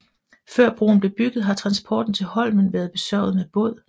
Før broen blev bygget har transporten til holmen været besørget med båd